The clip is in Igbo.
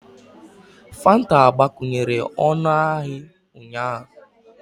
Fanta agbakwunyere ọnụahịa ụnyaahụ